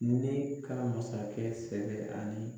Ne kɛra masakɛ sɛbɛ ani